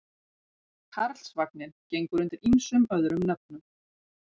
Karlsvagninn gengur undir ýmsum öðrum nöfnum.